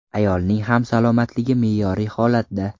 Ayolning ham salomatligi me’yoriy holatda.